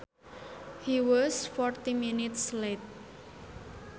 He was forty minutes late